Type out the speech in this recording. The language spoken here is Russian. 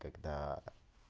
когда